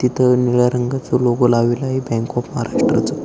तिथं निळ्या रंगाचा लोगो लावलेलाए बँक ऑफ महाराष्ट्र चा.